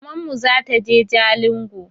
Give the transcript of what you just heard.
Mamanmu zataje jalingo